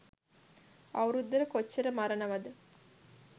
අවුරුද්දට කොච්චර මරණවද